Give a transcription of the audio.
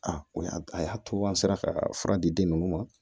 A o y'a a y'a to an sera ka fura di den ninnu ma